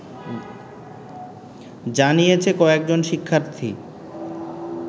জানিয়েছে কয়েকজন শিক্ষার্থী